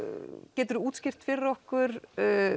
geturðu útskýrt fyrir okkur